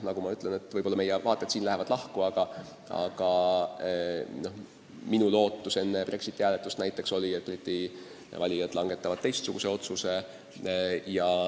Võib-olla lähevad meie vaated siin lahku, aga minu lootus enne Brexiti hääletust oli, et Briti valijad langetavad teistsuguse otsuse.